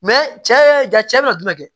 cɛ ja cɛ bɛ na jumɛn kɛ